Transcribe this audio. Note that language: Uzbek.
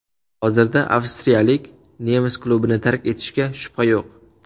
Hozirda avstriyalik nemis klubini tark etishiga shubha yo‘q.